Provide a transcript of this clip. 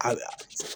A